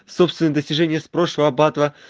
собственные достижения из прошлого батла